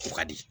O ka di